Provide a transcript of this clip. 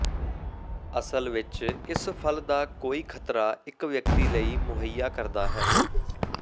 ਅਸਲ ਵਿੱਚ ਇਸ ਫਲ ਦਾ ਕੋਈ ਖ਼ਤਰਾ ਇੱਕ ਵਿਅਕਤੀ ਲਈ ਮੁਹੱਈਆ ਕਰਦਾ ਹੈ